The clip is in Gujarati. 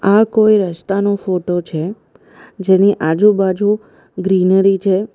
આ કોઈ રસ્તાનો ફોટો છે જેની આજુબાજુ ગ્રીનરી છે.